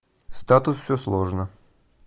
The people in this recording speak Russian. статус все сложно